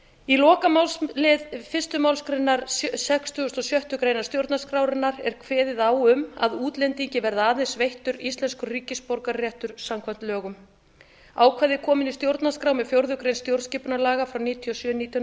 í lokamálslið fyrstu málsgrein sextugustu og sjöttu grein stjórnarskrárinnar er kveðið á um að útlendingi verði aðeins veittur íslenskur ríkisborgararéttur samkvæmt lögum ákvæðið kom inn í stjórnarskrá með fjórðu grein stjórnarskipunarlaga númer níutíu og sjö nítján